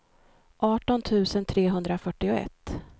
arton tusen trehundrafyrtioett